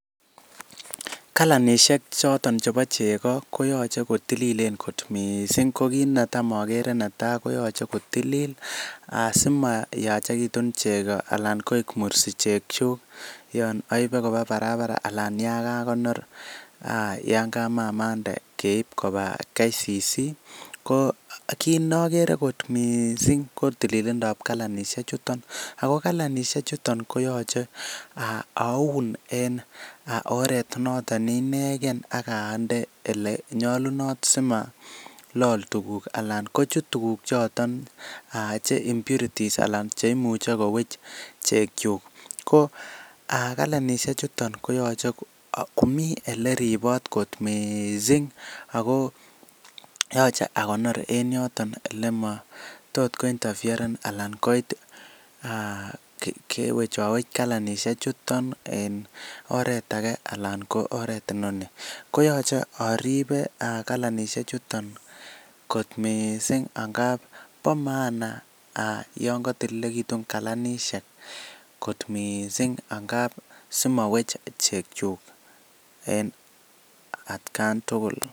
Kalanishek choton chebo chego koyoche kotililen kot mising ko kit netam ogere netai koyoche kotilil asimayachegitun chego anan koik mursi chekyuk yon oibe koba barabara anan yan kagonor, yan kamamande keib koba KCC. Ko kit ne ogere kot mising ko tililindab kalanishek chuton, ago kalanishek chuton koyoche aun en oret noton ne inegen ak ande ele nyolunot simalol tuuguk anan kochut tuguk choton che impurities anan che imuche koweche chekyuk ko a kalanishek chuton koyoche komi ele ribot kot misii! Ago yoche akonor en yootn ele mo tot ko interferen anan koit kewechowech kalanisiek chuton en oret age anan ko oret inoni. Koyoche aribe kalanishek chuton kot mising ngab bo maana yon kotililegitun kalanisiek kot mising ngab simowech chekyuk en atkan tuugul.